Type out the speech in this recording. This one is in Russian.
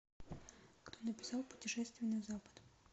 кто написал путешествие на запад